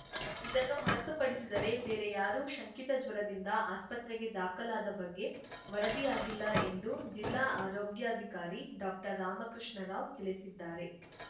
ಇದನ್ನು ಹೊರತುಪಡಿಸಿದರೆ ಬೇರೆ ಯಾರೂ ಶಂಕಿತ ಜ್ವರದಿಂದ ಆಸ್ಪತ್ರೆಗೆ ದಾಖಲಾದ ಬಗ್ಗೆ ವರದಿಯಾಗಿಲ್ಲ ಎಂದು ಜಿಲ್ಲಾ ಆರೋಗ್ಯಾಧಿಕಾರಿ ಡಾಕ್ಟರ್ರಾಮಕೃಷ್ಣ ರಾವ್‌ ತಿಳಿಸಿದ್ದಾರೆ